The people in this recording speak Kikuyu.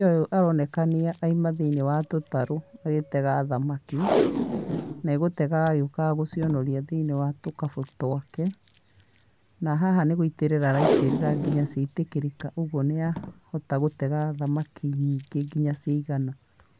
Mũtumia ũyũ aronekania aima thĩini wa tũtarũ agĩtega thamaki, na egũtegaga agĩũkaga gũcionoria thĩini wa tũkabu twake, na haha nĩ gũitĩrĩra araitĩrira araitĩrĩra nginya ciaitĩkĩrĩka ũguo nĩahota gũtega thamaki nyingĩ nginya ciaigana.